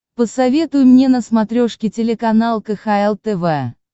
посоветуй мне на смотрешке телеканал кхл тв